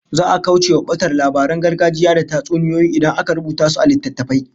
Za'a kaucewa batar labaran gargajiya da tatsuniyoyi idan aka rubuta su a littattafai